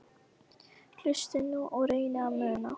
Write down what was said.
Hlustiði nú og reynið að muna